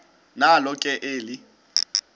nalo ke eli